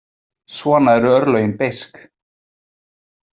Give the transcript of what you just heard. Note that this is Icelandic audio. Svona eru örlögin beisk.